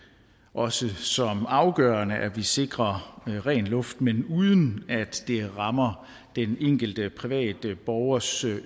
også som afgørende at vi sikrer ren luft men uden at det rammer den enkelte private borgers